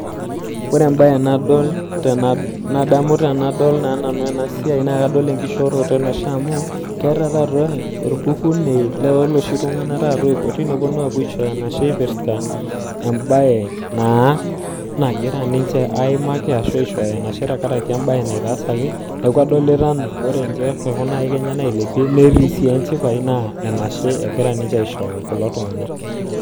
ore embaye nadol tenadol enaa naa enkishooroto enashe amuu kadoolta ajo ore ena kilepunono oonkaika tenebo kelioo ajo keshipa naa kitodolu ajo keeta enaitaasaki neeku enashe eshukito